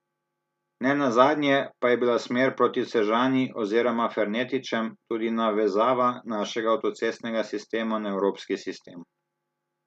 Ne nazadnje pa je bila smer proti Sežani oziroma Fernetičem tudi navezava našega avtocestnega sistema na evropski sistem.